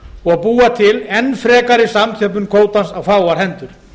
og búa til enn frekari samþjöppun kvótans á fáar hendur